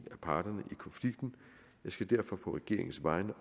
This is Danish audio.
parterne i konflikten jeg skal derfor på regeringens vegne